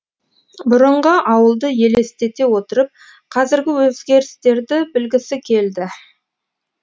бұрынғы ауылды елестете отырып қазіргі өзгерістерді білгісі келді